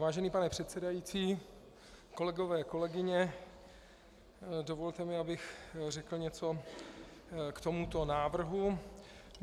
Vážený pane předsedající, kolegové, kolegyně, dovolte mi, abych řekl něco k tomuto návrhu.